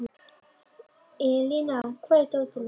Elíná, hvar er dótið mitt?